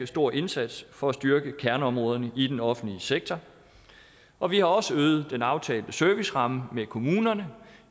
stor indsats for at styrke kerneområderne i den offentlige sektor og vi har også øget den aftalte serviceramme med kommunerne